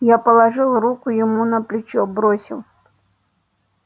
я положил руку ему на плечо бросил